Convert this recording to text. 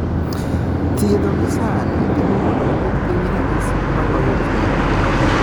Thiedho gi sani, temo mondo oduok piny ranyisi moloyo thiedh